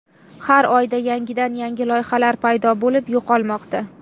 Har oyda yangidan-yangi loyihalar paydo bo‘lib, yo‘qolmoqda.